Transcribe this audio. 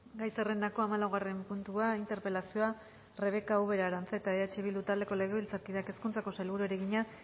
gai zerrendako hamalaugarren puntua interpelazioa rebeka ubera aranzeta eh bildu taldeko legebiltzarkideak hezkuntzako sailburuari egina